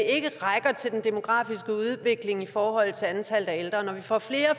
ikke rækker til den demografiske udvikling i forholdet til antallet af ældre når vi får flere og